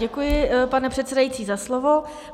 Děkuji, pane předsedající, za slovo.